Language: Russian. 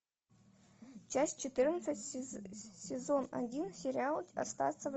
часть четырнадцать сезон один сериал остаться в